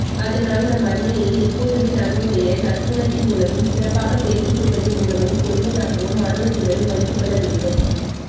அதனால் நம் அன்னையை எப்போதுமே நம்முடைய நற்குணத்தின் மூலமும் சிறப்பாக தேர்ச்சி பெறுவதின் மூலமும் பெறுமையாகவும் ஆணந்தத்துடனும் வைத்துக்கொள்ளவேண்டும்